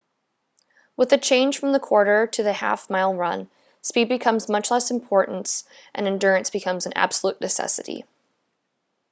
with the change from the quarter to the half mile run speed becomes of much less importance and endurance becomes an absolute necessity